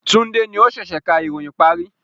Tunde ni o sẹ̀sẹ̀ ká ìròyìn parí